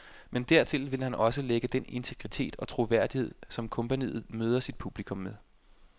Men dertil vil han også lægge den integritet og troværdighed, som kompagniet møder sit publikum med.